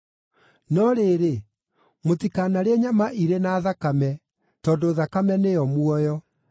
“No rĩrĩ, mũtikanarĩe nyama irĩ na thakame, tondũ thakame nĩyo muoyo.